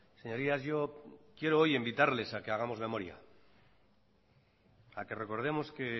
señorías yo quiero hoy invitarles a que hagamos memoria a que recordemos que